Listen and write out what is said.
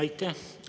Aitäh!